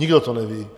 Nikdo to neví.